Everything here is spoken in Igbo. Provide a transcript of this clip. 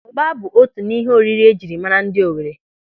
Ụ́gbà bụ otu n'ihe oriri ejiri mara ndị Owere.